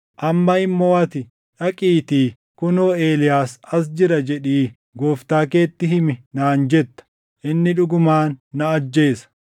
Amma immoo ati, ‘Dhaqiitii, “Kunoo Eeliyaas as jira” jedhii gooftaa keetti himi’ naan jetta. Inni dhugumaan na ajjeesa!”